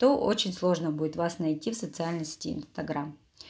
то очень сложно будет вас найти в социальной сети инстаграм